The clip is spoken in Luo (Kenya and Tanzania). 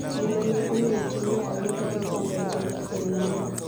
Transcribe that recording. gima ne omiyo timno oluw kod jofwamb weche mag piny mangima